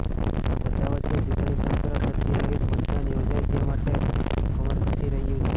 આ બધાં વચ્ચે ચૂંટણીતંત્ર ક્ષતી રહિત મતદાન યોજાય તે માટે કમરકસી રહ્યું છે